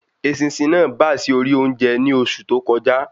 Eṣinṣin náà bá sì ori oúnjẹ ni oṣù tó kọjá